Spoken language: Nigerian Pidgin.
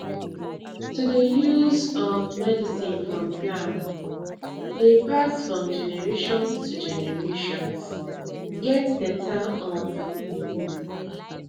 to dey use um medicine from plant dey pass from generations to generations get better um meaning